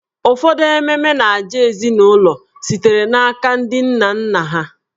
Ụfọdụ ememe na ajà ezinụlọ sitere n'aka ndị nna nna ha.